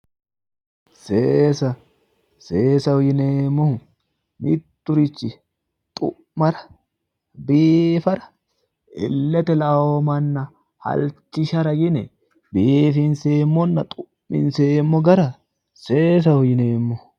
seesa seesaho yineemmohu mitturichi xu'mara biifara illete la'anno manna halchishara yine biifinseemmonna xu'minseemmo gara seesaho yineemmo.